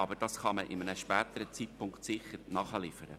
Aber diese kann man zu einem späteren Zeitpunkt sicher nachliefern.